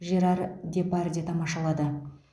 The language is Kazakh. жерар депардье тамашалады